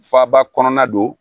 Faaba kɔnɔna don